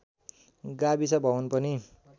गाविस भवन पनि